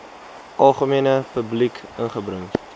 algemene publiek ingebring